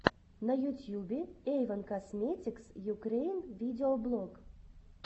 на ютьюбе эйвон косметикс юкрэин видеоблог